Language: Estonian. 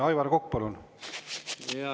Aivar Kokk, palun!